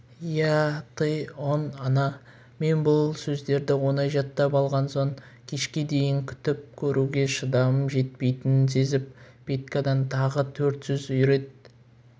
я ты он она мен бұл сөздерді оңай жаттап алған соң кешке дейін күтіп көруге шыдамым жетпейтінін сезіп петькадан тағы төрт сөз үйрет